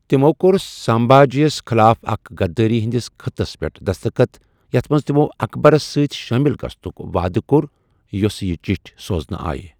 تِموٚ کوٚر سامبھا جِیس خلاف اکِس غدٲری ہندِس خطس پیٹھ دسخت یتھ منز تِموٚ اکبرس سٕتہِ شٲِمل گژھنُک واعدٕ کوٚر ، یس یہِ چٹھہِ سوزنہٕ آیہِ ۔